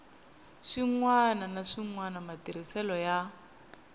swin wana naswona matirhiselo ya